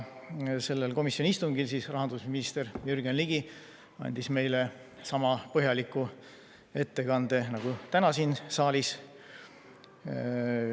Sellel komisjoni istungil tegi rahandusminister Jürgen Ligi meile sama põhjaliku ettekande nagu täna siin saalis.